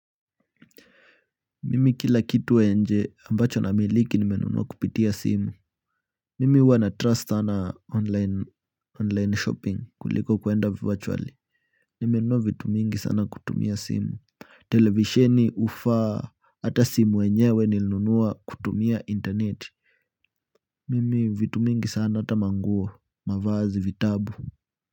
Mimi kila kitu ya nje ambacho namiliki nimenunua kupitia simu. Mimi huwa na trust sana online shopping kuliko kuenda virtuali. Nimenunua vitu mingi sana kutumia simu. Televisheni ufa hata simu yenyewe nilinunua kutumia internet. Mimi vitu mingi sana ata manguo mavazi vitabu.